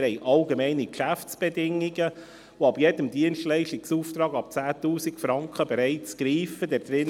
Wir haben Allgemeine Geschäftsbedingungen (AGB) des Kantons Bern für Dienstleistungsaufträge, die bereits für Dienstleistungsaufträge ab 10 000 Franken greifen.